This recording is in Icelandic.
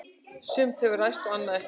Sumt hefur ræst og annað ekki.